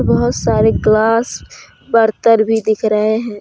बहुत सारे ग्लास बर्तन भी दिख रहे हैं।